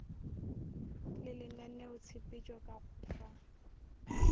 le lenaneotshepetšo ka go fa